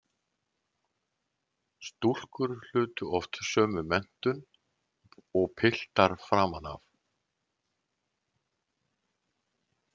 Stúlkur hlutu oft sömu menntun og piltar framan af.